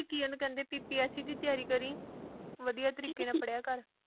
ਕੀ ਓਹਨੂੰ ਕਹਿੰਦੇ PPSC ਦੀ ਤਿਆਰੀ ਕਰੀ ਵਧੀਆ ਤਰੀਕੇ ਨਾ ਪੜ੍ਹਿਆ ਕਰ।